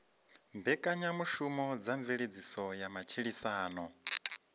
mbekanyamushumo dza mveledziso ya matshilisano